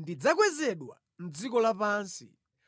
ndidzakwezedwa mʼdziko lapansi.”